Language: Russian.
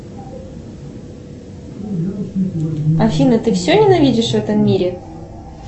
афина ты все ненавидишь в этом мире